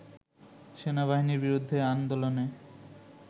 “সেনাবাহিনীর বিরুদ্ধে আন্দোলনে